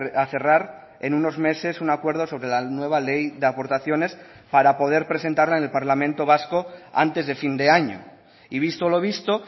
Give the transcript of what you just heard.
a cerrar en unos meses un acuerdo sobre la nueva ley de aportaciones para poder presentarla en el parlamento vasco antes de fin de año y visto lo visto